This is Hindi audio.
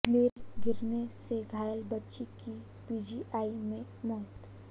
ग्रिल गिरने से घायल बच्ची की पीजीआई में मौत